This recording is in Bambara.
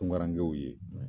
Tungarankew ye